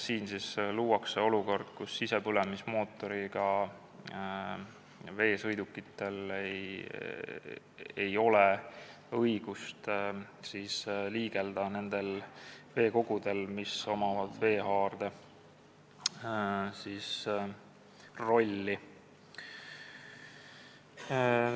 Siin luuakse olukord, kus sisepõlemismootoriga veesõidukitel ei ole õigust liigelda nendel veekogudel, millel on veehaarde roll.